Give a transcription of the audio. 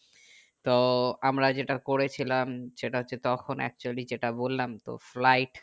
তো আমরা যেটা করেছিলাম সেটা হচ্ছে তখন actually যেটা বললাম তো flight